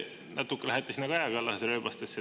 Te lähete natuke sinna Kaja Kallase rööbastesse.